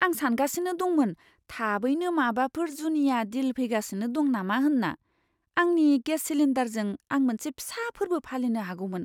आं सानगासिनो दंमोन थाबैनो माबाफोर जुनिया डिल फैगासिनो दं नामा होनना। आंनि गेस सिलिन्डारजों आं मोनसे फिसा फोर्बो फालिनो हागौमोन!